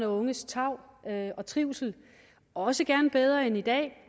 og unges tarv og trivsel også gerne bedre end i dag